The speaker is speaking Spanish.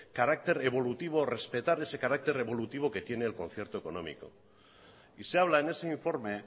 carácter evolutivo respetar ese carácter evolutivo que tiene el concierto económico y se habla en ese informe